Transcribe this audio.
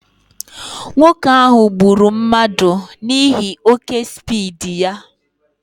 Nwoke ahụ gburu mmadụ n'ihi oké spiidi ya